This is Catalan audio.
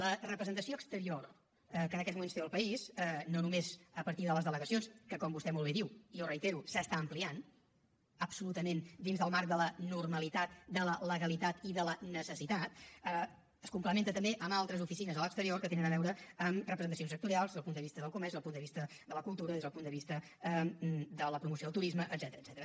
la representació exterior que en aquests moments té el país no només a partir de les delegacions que com vostè molt bé diu i jo ho reitero s’està ampliant absolutament dins del marc de la normalitat de la legalitat i de la necessitat es complementa també amb altres oficines a l’exterior que tenen a veure amb representacions sectorials des del punt de vista del comerç des del punt de vista de la cultura des del punt de vista de la promoció del turisme etcètera